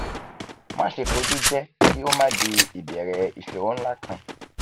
maṣe foju jẹ ki o ma di ibẹrẹ iṣoro nla kan